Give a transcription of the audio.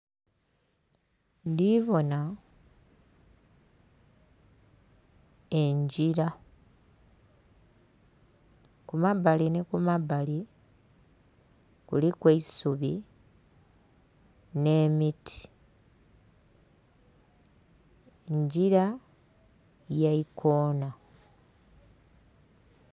Ndhi bona engila, ku mabbali ni ku mabbali kuliku eisubi, nh'emiti. Ngila ya ikoona.